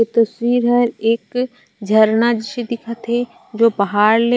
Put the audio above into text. ए तस्वीर ह एक झरना जइसे दिखत हे जो पहाड़ ले--